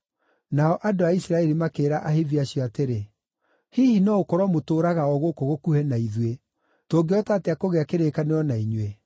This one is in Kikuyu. Nao andũ a Isiraeli makĩĩra Ahivi acio atĩrĩ, “Hihi no gũkorwo mũtũũraga o gũkũ gũkuhĩ na ithuĩ, tũngĩhota atĩa kũgĩa kĩrĩkanĩro na inyuĩ?”